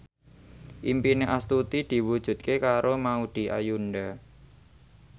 impine Astuti diwujudke karo Maudy Ayunda